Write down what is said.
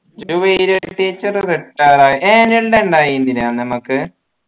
Juwaila teacher retired ആയി annual ൻ്റെ അന്ന് നമ്മക്ക്